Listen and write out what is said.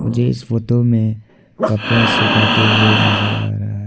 मुझे इस फोटो में कपड़ा सुखाते हुए नजर आ रहा है।